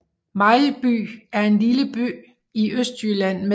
Mejlby er en lille by i Østjylland med